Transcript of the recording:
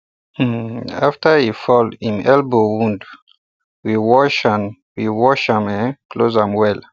um after he fall hin elbow wound we wash and we wash and um close am well